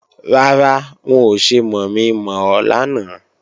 Rárá, wọn ò ṣe mọ̀mi-mọ̀ ọ lánàá